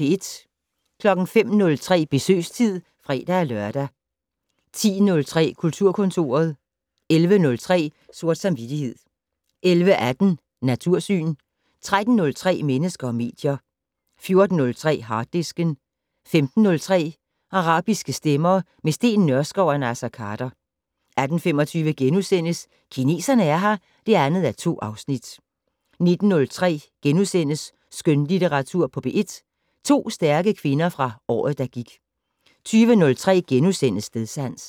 05:03: Besøgstid (fre-lør) 10:03: Kulturkontoret 11:03: Sort samvittighed 11:18: Natursyn 13:03: Mennesker og medier 14:03: Harddisken 15:03: Arabiske stemmer - med Steen Nørskov og Naser Khader 18:25: Kineserne er her (2:2)* 19:03: Skønlitteratur på P1 - To stærke kvinder fra året, der gik * 20:03: Stedsans *